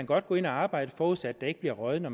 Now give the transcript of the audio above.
godt gå ind og arbejde forudsat at der ikke bliver røget når